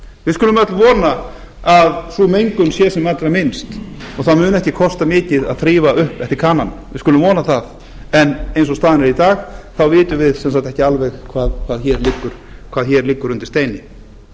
við skulum öll vona að sú mengun sé sem allra minnst og það muni ekki kosta mikið að þrífa upp eftir kanann við skulum vona það en eins og staðan er í dag þá vitum við ekki sem sagt ekki alveg hvað hér liggur undir steini